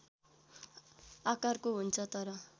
आकारको हुन्छ तर